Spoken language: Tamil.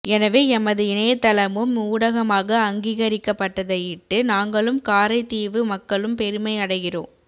எனவே எமது இணையத்தளமும் ஊடகமாக அங்கீகரிக்கப்பட்டதையிட்டு நாங்களும் காரைதீவூ மக்களும் பெருமையடைகின்றோம்